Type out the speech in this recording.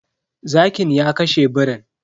Zakin ya kashe birin.